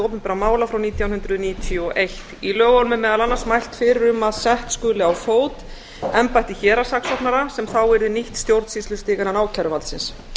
opinberra mála frá nítján hundruð níutíu og eitt í lögunum er meðal annars mælt fyrir um að sett skuli á fót embætti héraðssaksóknara sem þá yrði nýtt stjórnsýslustig innan ákæruvaldsins